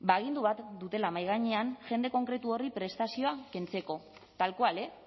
ba agindu bat dutela mahai gainean jende konkretu horri prestazioa kentzeko tal cual eh